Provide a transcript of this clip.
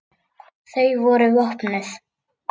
Þau voru vopnuð.